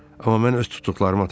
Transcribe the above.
Amma mən öz tutduqlarımı atacağam.